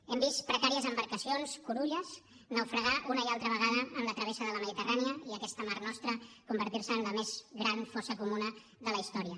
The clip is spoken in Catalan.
hem vist precàries embarcacions curulles naufragar una i altra vegada en la travessa de la mediterrània i aquesta mar nostra convertir se en la més gran fossa comuna de la història